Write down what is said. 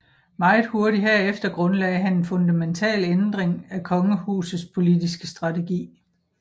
Meget hurtigt herefter grundlagte han en fundamental ændring af kongehusets politiske strategi